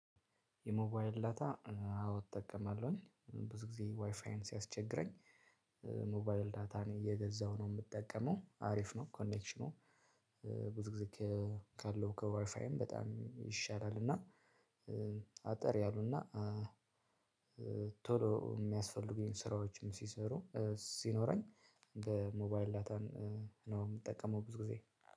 የሞባይል ዳታ አዎ እጠቀማለሁኝ ብዙ ጊዜ ዋይፋዬን ሲያስቸግረኝ። ሞባይል ዳታን እየገዛሁ ነው የምጠቀመው አሪፍ ነው። ኮኔክሽኑ ብዙ ጊዜ ካለው ከዋይፋይም በጣም ይሻላል። እና አጠር ያሉና ቶሎ የሚያስፈልጉኝን ስራዎችም ሲሰሩ ሲኖረኝ በሞባይል ዳታን ነው የምጠቀመው። ብዙ ጊዜ